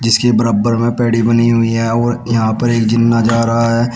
जिसके बराबर में पेडी बनी हुई है और यहां पर एक जीना जा रहा है।